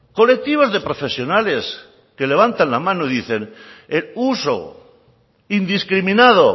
colectivos de profesionales que levantan la mano y dicen el uso indiscriminado